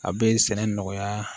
A bɛ sɛnɛ nɔgɔya